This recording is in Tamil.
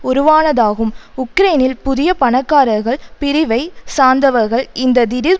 உருவானதாகும் உக்ரைனில் புதிய பணக்காரர்கள் பிரிவை சார்ந்தவர்கள் இந்த திடீர்